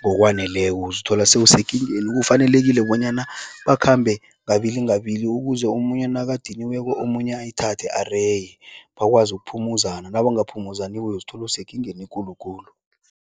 ngokwaneleko, uzithola sewusekingeni. Kufanelekile bonyana bakhambe ngabili ngabili ukuze omunye nakadaniweko, omunye ayithathe areye, bakwazi ukuphumuzana. Nabangaphumuzaniko uyozithola usekingeni ekulu khulu.